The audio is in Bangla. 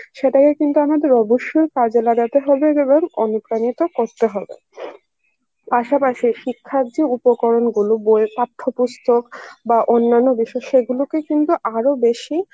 সেটাকে কিন্তু আমাদের অবশ্যই কাজে লাগাতে হবে এবং অনুপ্রাণিত করতে হবে পাশাপাশি শিক্ষার যে উপকরণ গুলো বইয়ের পাঠ্য পুস্তক বা অন্যান্য বিষয়ে সেগুলোকে কিন্তু আরো বেশি